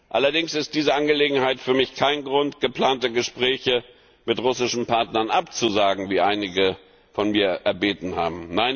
Allerdings ist diese Angelegenheit für mich kein Grund, geplante Gespräche mit russischen Partnern abzusagen, wie einige von mir erbeten haben.